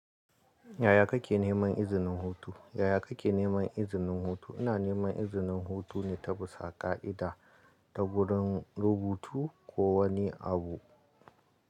Yaya kake neman izinin hutu? Yaya kake neman izinin hutu? Ina neman izinin hutune ta bisa ƙa'ida ta gurin rubutu ko wani abu.